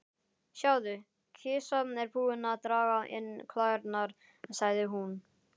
Sjáðu, kisa er búin að draga inn klærnar, sagði hún.